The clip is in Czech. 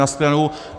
Na shledanou.